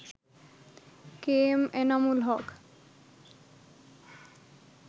KM Enamul Haque